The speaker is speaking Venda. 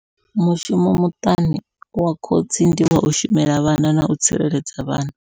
Mushumo muṱani wa khotsi ndi wau shumela vhana nau tsireledza vhana.